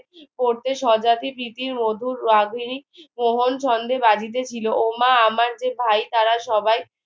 করতে স্বজাতি প্রীতির মধুর রাঁধুনি কেমন ছন্দে বাজিতে ছিল ও মা আমার যে ভাই তারা সবাই